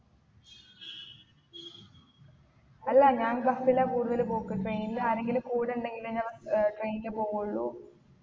എല്ലാ ഞാൻ bus ലാ കൂടുതൽ പോക്ക് train ൽ ആരെങ്കിലും കൂടെ ഇണ്ടെങ്കിലേ ഞാൻ ഏർ train ല് പോകുള്ളു